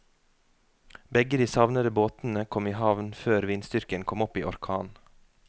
Begge de savnede båtene kom i havn før vindstyrken kom opp i orkan.